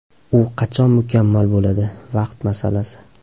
U qachon mukammal bo‘ladi, vaqt masalasi.